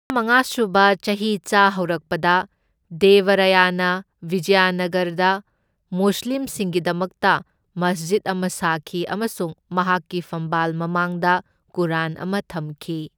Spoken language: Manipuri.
ꯇꯔꯥꯃꯉꯥ ꯁꯨꯕ ꯆꯍꯤꯆꯥ ꯍꯧꯔꯛꯄꯗ ꯗꯦꯕ ꯔꯥꯌꯥꯅ ꯕꯤꯖꯌꯥꯅꯒꯔꯗ ꯃꯨꯁꯂꯤꯝꯁꯤꯡꯒꯤꯗꯃꯛꯇ ꯃꯁꯖꯤꯠ ꯑꯃ ꯁꯥꯈꯤ ꯑꯃꯁꯨꯡ ꯃꯍꯥꯛꯀꯤ ꯐꯝꯕꯥꯜ ꯃꯃꯥꯡꯗ ꯀꯨꯔꯥꯟ ꯑꯃ ꯊꯝꯈꯤ꯫